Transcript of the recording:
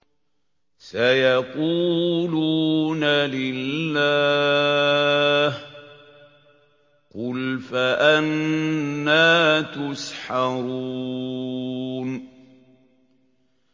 سَيَقُولُونَ لِلَّهِ ۚ قُلْ فَأَنَّىٰ تُسْحَرُونَ